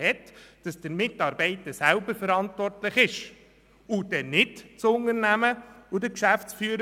Dieser Mitarbeiter wäre selber verantwortlich, und nicht das Unternehmen oder dessen Geschäftsführer.